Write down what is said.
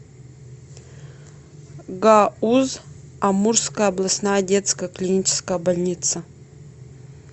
гауз амурская областная детская клиническая больница